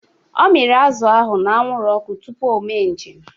Ọ miri azụ ahụ n'anwụrụ ọkụ tupu o me njem.